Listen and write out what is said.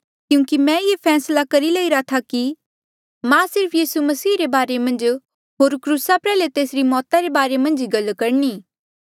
क्यूंकि मैं ये फैसला करी लईरा था कि मैं सिर्फ यीसू मसीह रे बारे मन्झ होर क्रूसा प्रयाल्हे तेसरी मौता रे बारे मन्झ ही गल करणी